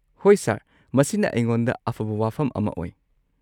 ꯍꯣꯏ, ꯁꯔ꯫ ꯃꯁꯤꯅ ꯑꯩꯉꯣꯟꯗ ꯑꯐꯕ ꯋꯥꯐꯝ ꯑꯃ ꯑꯣꯏ꯫